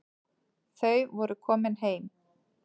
Þau voru komin heim.